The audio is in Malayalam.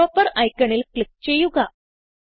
എയ്ഡ്രോപ്പർ ഐക്കണിൽ ക്ലിക്ക് ചെയ്യുക